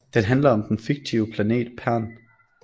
Den handler om den fiktive planet Pern